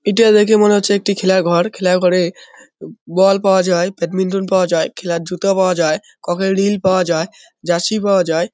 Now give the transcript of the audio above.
এটা দেখে মনে হচ্ছে একটি খেলাঘর খেলাঘরে বল পাওয়া যায় ব্যাডমিন্টন পাওয়া যায় খেলার জুতো পাওয়া যায় কক -এর রিল পাওয়া যায় জার্সি পাওয়া যায়।